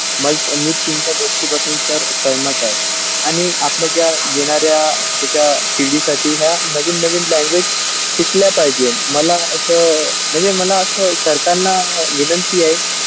मज मी तुमच्या गोष्टीपासून तर सहमत आहे आणि आपला ज्या येणारा त्याचा पिढी साठी ह्या नवीन नवीन language शिकलं पाहिजे मला अशा अ म्हणजे मला अश सरकारांना विनंती आहे.